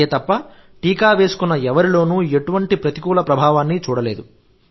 అంతే తప్ప టీకా వేసుకున్న ఎవరిలోనూ ఎటువంటి ప్రతికూల ప్రభావాన్ని చూడలేదు